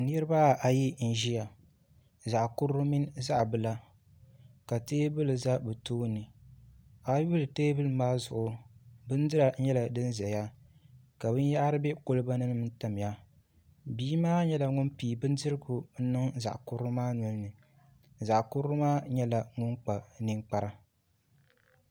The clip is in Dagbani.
Niraba ayi n ʒiya zaɣ kurili mini zaɣ bila ka teebuli ʒɛ bi tooni a yuli teebuli maa zuɣu bindira nyɛla din ʒɛya ka binyahari bɛ kolba ni n tamya bia maa nyɛla ŋun pii bindirigu n niŋ zaɣ kurili maa nolini zaɣ kurili maa nyɛla ŋun kpa ninkpara